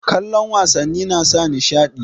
Kallon wasannin nasa nishaɗi